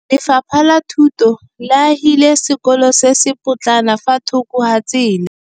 Lefapha la Thuto le agile sekôlô se se pôtlana fa thoko ga tsela.